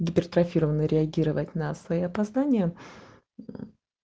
гипертрофированно реагировать на свои познания мм